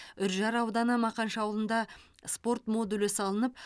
үржар ауданы мақаншы ауылында спорт модулі салынып